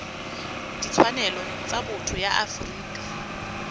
ditshwanelo tsa botho ya afrika